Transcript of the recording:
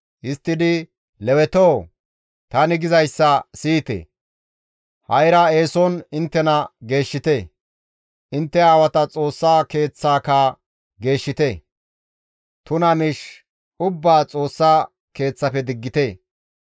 Histtidi, «Lewetoo! Tani gizayssa siyite! Ha7ira eeson inttena geeshshite; intte aawata Xoossa Keeththaaka geeshshite; tuna miish ubbaa Xoossa Keeththafe diggite.